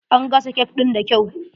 An gasa cake in da kyau.